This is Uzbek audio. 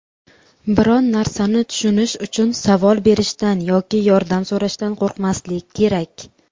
biron narsani tushunish uchun savol berishdan yoki yordam so‘rashdan qo‘rqmaslik kerak.